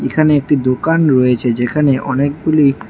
এখানে একটি দোকান রয়েছে যেখানে অনেকগুলি--